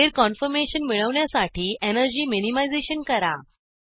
स्थिर कान्फॉर्मेशन मिळवण्यासाठी energy minimisation करा